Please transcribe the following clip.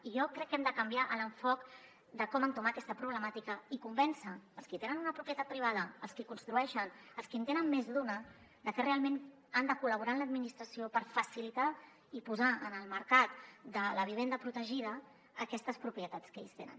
i jo crec que hem de canviar l’enfocament de com entomar aquesta problemàtica i convèncer els qui tenen una propietat privada els qui construeixen els qui en tenen més d’una de que realment han de col·laborar amb l’administració per facilitar i posar en el mercat de la vivenda protegida aquestes propietats que ells tenen